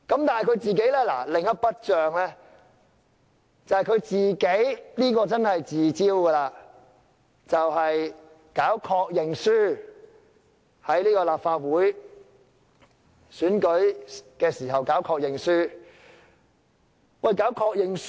但是，他另一筆帳卻是他自招的，便是搞確認書，亦即在立法會選舉時要求候選人簽署確認書。